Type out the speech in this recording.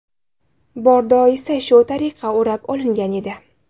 Bordo esa shu tariqa o‘rab olingan edi.